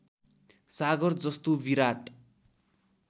सागर जस्तो विराट